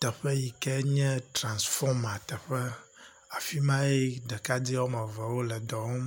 teƒe yi ke nye transfɔma teƒe. Afi mae ɖekade wɔme eve wo le dɔ wɔm.